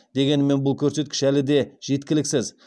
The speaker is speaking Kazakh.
дегенмен бұл көрсеткіш әлі де жеткіліксіз